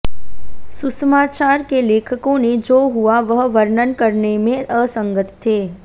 सुसमाचार के लेखकों ने जो हुआ वह वर्णन करने में असंगत थे